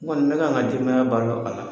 N kɔni, me kan ka denbaya balo a la.